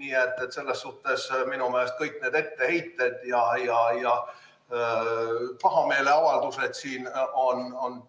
Nii et selles suhtes on minu meelest kõik need etteheited ja pahameeleavaldused siin